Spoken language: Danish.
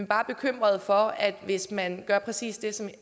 bare bekymret for at hvis man gør præcis det som